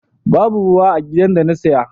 Babu ruwa a gidan da ta saya.